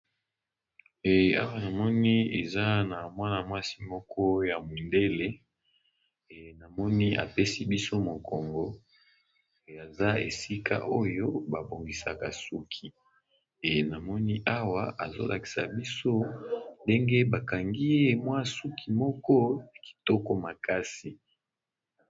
Awa namoni eza na mwana-mwasi moko ya mundele , namoni apesi biso mokongo aza esika oyo babongisaka suki na moni awa azolakisa biso ndenge bakangi ye suki kitoko makasi.